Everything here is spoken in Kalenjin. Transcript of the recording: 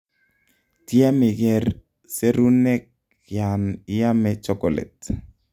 tyem iger serunek yan iame chocolate